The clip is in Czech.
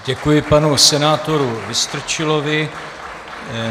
Děkuji panu senátoru Vystrčilovi.